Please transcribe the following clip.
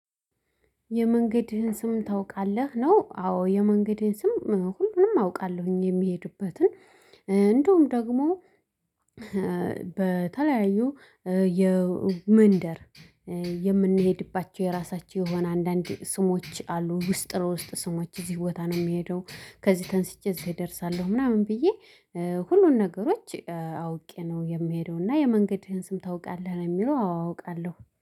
የመንገድህን ስም ታውቃለህ? ነው አዎ የመንገዴን ስም ሁሉንም አውቃለሁኝ። የሚሄዱበትን እንዲሁም ደግሞ በተለያዩ የመንደር የምንሄድባቸው የራሳቸው የሆነ አንዳንድ ስሞች አሉ። ውስጥ ለውስጥ ስሞች እዚህ ቦታ ነው የሚሄደው። ከዚህ ተንስቼ እዚህ እደርሳለሁ ምናምን ብዬ ሁሉን ነገሮች አውቄ ነው የሚሄደው። እና የመንገድህን ስም ታውቃለህ? ለሚለው አዎ አውቃለሁ